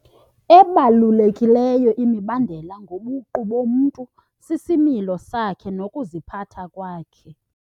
Ebalulekileyo imibandela ngobuqu bomntu sisimilo sakhe nokuziphatha kwakhe.